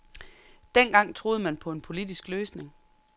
Dengang troede man på en politisk løsning.